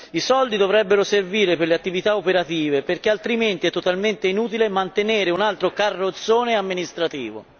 I soldi dovrebbero servire per le attività operative perché altrimenti è totalmente inutile mantenere un altro carrozzone amministrativo.